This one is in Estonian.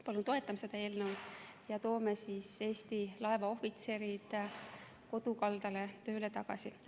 Palun toetage seda eelnõu ja toome Eesti laevaohvitserid kodukaldale tööle tagasi!